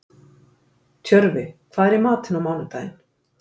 Tjörfi, hvað er í matinn á mánudaginn?